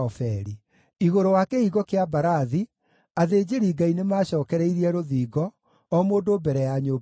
Igũrũ wa Kĩhingo kĩa Mbarathi, athĩnjĩri-Ngai nĩmacookereirie rũthingo, o mũndũ mbere ya nyũmba yake.